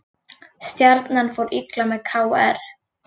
Stjarnan fór illa með KR